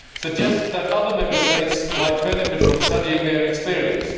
suggests that other Member States might benefit from studying their experience